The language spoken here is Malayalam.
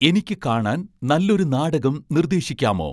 എനിക്ക് കാണാൻ നല്ലൊരു നാടകം നിർദ്ദേശിക്കാമോ